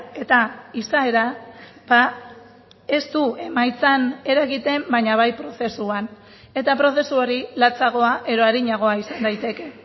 eta izaera ez du emaitzan eragiten baina bai prozesuan eta prozesu hori latsagoa edo arinagoa izan daiteke